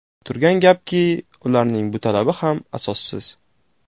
Turgan gapki, ularning bu talabi ham asossiz.